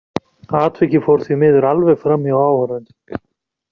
Atvikið fór því miður alveg framhjá áhorfendum.